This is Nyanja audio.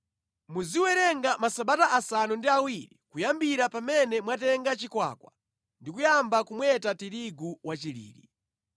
Muziwerenga masabata asanu ndi awiri kuyambira pamene mwatenga chikwakwa ndi kuyamba kumweta tirigu wachilili.